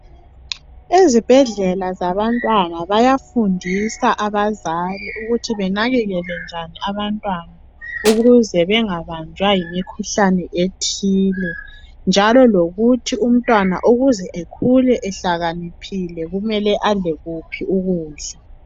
ezibhedlela zabantwana bayafundisa abazali ukuthi benakekele njani abantwana ukuze bengabanjwa yimikhuhlane ethile njalo lokuthi umntwana ukuze ekhule ehlakaniphile kumele adle kuphi ukudla